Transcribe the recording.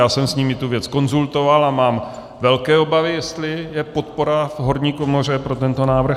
Já jsem s nimi tu věc konzultoval a mám velké obavy, jestli je podpora v horní komoře pro tento návrh.